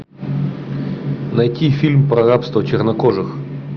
найти фильм про рабство чернокожих